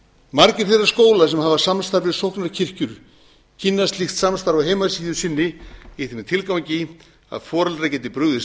margir þeirra skóla sem hafa samstarf við sóknarkirkjur kynna slíkt samstarf á heimasíðu sinni í þeim tilgangi að foreldrar geti brugðist